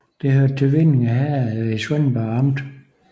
Det hørte til Vindinge Herred i Svendborg Amt